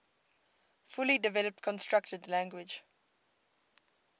fully developed constructed language